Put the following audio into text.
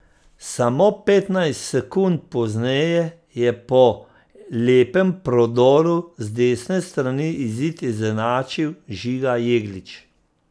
Samo petnajst sekund pozneje je po lepem prodoru z desne strani izid izenačil Žiga Jeglič.